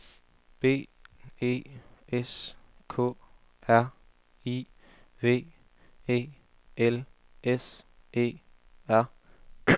B E S K R I V E L S E R